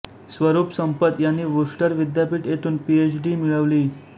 स्वरूप संपत यांनी वूस्टर विद्यापीठ येथून पीएचडी मिळवली